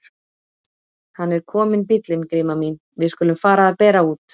Hann er kominn bíllinn Gríma mín, við skulum fara að bera út.